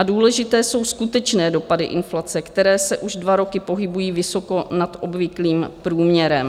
A důležité jsou skutečné dopady inflace, které se už dva roky pohybují vysoko nad obvyklým průměrem.